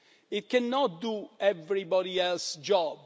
It cannot do everybody else's job.